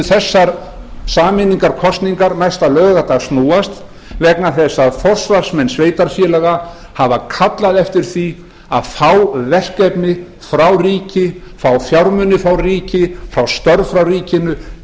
þessar sameiningarkosningar næsta laugardag snúast vegna þess að forsvarsmenn sveitarfélaga hafa kallað eftir því að fá verkefni frá ríki fá fjármuni frá ríki fá störf frá ríkinu